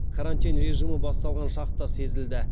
карантин режимі басталған шақта сезілді